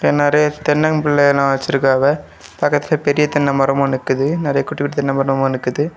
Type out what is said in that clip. நெறைய தென்னம்பிள்ளையெல்லா வச்சிருக்காவ. பக்கத்துல பெரிய தென்னை மரமு நிக்குது நிறைய குட்டி குட்டி தென்ன மரமும் நிக்குது.